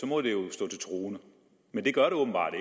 må det jo stå til troende men det gør det åbenbart